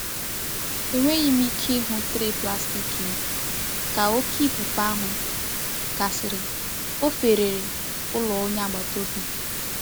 Enweghị m ike ịhụ traị plastik m ka oké ifufe ahụ gasịrị—ọ fefere n'ụlọ onye agbata obi.